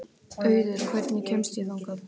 Auður, hvernig kemst ég þangað?